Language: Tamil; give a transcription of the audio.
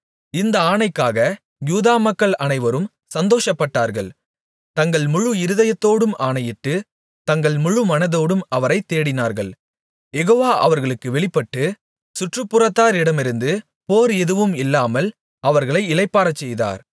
இந்த ஆணைக்காக யூதா மக்கள் அனைவரும் சந்தோஷப்பட்டார்கள் தங்கள் முழு இருதயத்தோடும் ஆணையிட்டு தங்கள் முழுமனதோடும் அவரைத் தேடினார்கள் யெகோவா அவர்களுக்கு வெளிப்பட்டு சுற்றுப்புறத்தாரிடமிருந்து போர் எதுவும் இல்லாமல் அவர்களை இளைப்பாறச்செய்தார்